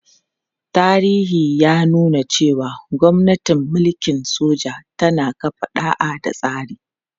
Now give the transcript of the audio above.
Tarihi ya nuna cewa gwamnatin mulkin soja tana kafa ɗa'a da tsari.